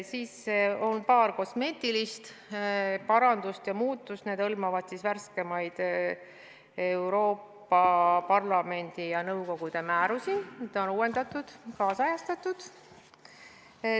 Siis on veel paar kosmeetilist muudatust, need hõlmavad värskemaid Euroopa Parlamendi ja nõukogude määrusi, mida on uuendatud, kaasajastatud.